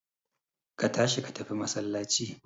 Ka tashi ka tafi masallaci